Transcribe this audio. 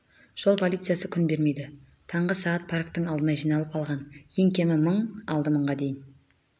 жол полициясы күн бермейді таңғы сағат парктің алдына жиналып алған ең кемі мың алды мыңға дейін